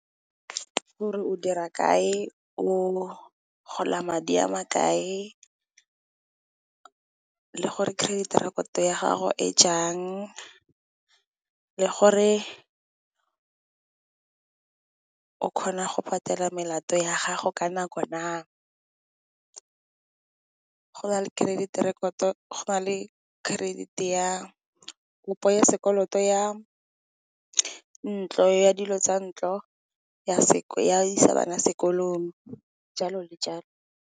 Gore o dira kae o gola madi a ma kae le gore credit record ya gago e jang le gore o kgona go patela melato ya gago ka nako na, go na le credit ya kopo ya sekoloto ya ntlo, ya dilo tsa ntlo, ya isa bana sekolong jalo le jalo.